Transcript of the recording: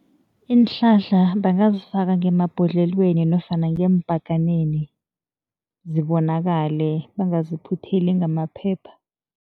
Iinhlahla bangazifaka ngemabhodlelweni nofana ngeembhaganeni, zibonakale, bangaziphutheli ngamaphepha.